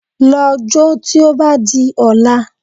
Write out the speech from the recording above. Lọ jó tí ó bá di ọ̀la